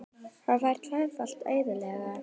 Hann fær tvöfalt eðli.